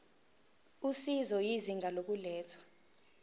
usizo izinga lokulethwa